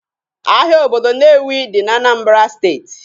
Ahịa obodo Nnewi dị na Anambra steeti